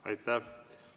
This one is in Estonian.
Aitäh!